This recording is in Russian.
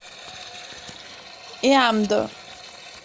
иамдо